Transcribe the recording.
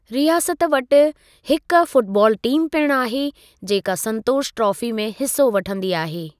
रियासत वटि हिकु फ़ुटबाल टीम पिणु आहे जेका संतोषु ट्राफ़ी में हिसो वठंदी आहे।